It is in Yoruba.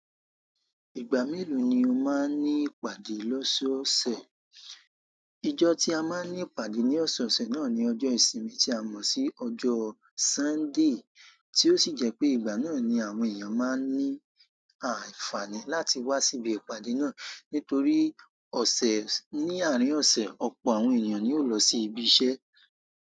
Ìgbà mélòó ni o máa ń ní ìpàdé lọ́sọ́ọ̀sẹ̀? Ọjọ́ tí a máa ń ní ìpàdé ní ọ̀sẹ̀ ọ̀sẹ̀ náà ni ọjọ́ ìsinmi tí a mọ̀ sí ọjọ́ Sunday, tí ó sì jẹ́ pé ìgbà náà ni àwọn èèyàn máa ń ní àìfààní láti wá sí ibi ìpàdé náà. Nítorí ọ̀sẹ̀ ní àárín ọ̀sẹ̀, ọ̀pọ̀ àwọn ènìyàn ni yóò lọ sí ibi iṣẹ́.